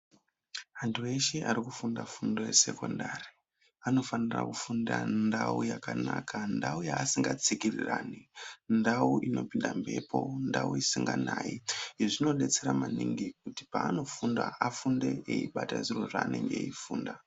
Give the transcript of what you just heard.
Antu eshe arikufunda fundo yesekondari anofanira kufunda ndau yakanaka, ndau yaasikatsikirirani, ndau inopinda mhepo, ndau isinganayi. Izvi zvinodetsera maningi kuti paanofunda afunde eibata zvinhu zvaanenge eifunda.